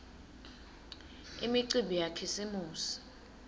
imicimbi yakhisimusi